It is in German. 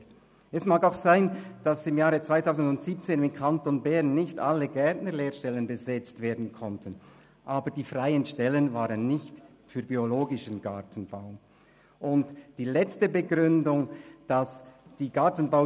Zweitens: Es kann auch sein, dass im Jahr 2017 im Kanton Bern nicht alle Gärtnerlehrstellen haben besetzt werden können, aber die freien Stellen haben nicht den biologischen Gartenbau betroffen.